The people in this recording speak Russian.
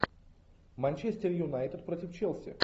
манчестер юнайтед против челси